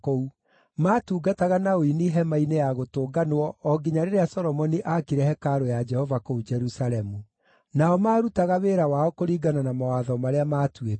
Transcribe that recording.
Maatungataga na ũini Hema-inĩ-ya-Gũtũnganwo o nginya rĩrĩa Solomoni aakire hekarũ ya Jehova kũu Jerusalemu. Nao maarutaga wĩra wao kũringana na mawatho marĩa maatuĩtwo.